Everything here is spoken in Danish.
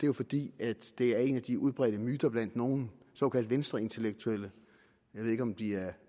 jo fordi det er en af de udbredte myter blandt nogle såkaldt venstreintellektuelle jeg ved ikke om de er